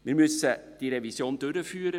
Wir müssen die Revision durchführen;